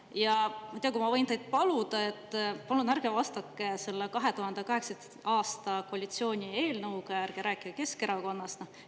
Ma ei tea, äkki ma võin teid paluda, et ärge vastuses seda 2018. aasta koalitsiooni eelnõu ja ärge rääkige Keskerakonnast.